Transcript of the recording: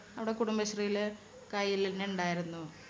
അവിടെ കുടുംബശ്രീയില് കെെയ്യില് തന്നെ ഉണ്ടായിരുന്നു.